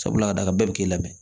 Sabula a d'a kan bɛɛ bɛ k'i lamɛn